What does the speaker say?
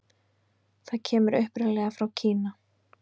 Það kemur upprunalega frá Kína.